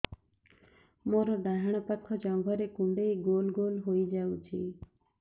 ମୋର ଡାହାଣ ପାଖ ଜଙ୍ଘରେ କୁଣ୍ଡେଇ ଗୋଲ ଗୋଲ ହେଇଯାଉଛି